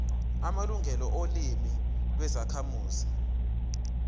amalungelo olimi lwezakhamuzi